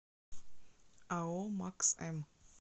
ао макс м